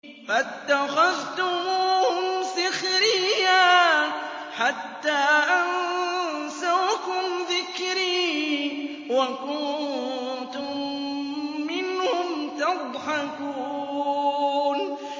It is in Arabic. فَاتَّخَذْتُمُوهُمْ سِخْرِيًّا حَتَّىٰ أَنسَوْكُمْ ذِكْرِي وَكُنتُم مِّنْهُمْ تَضْحَكُونَ